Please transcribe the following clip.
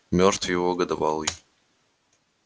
мёртв его годовалый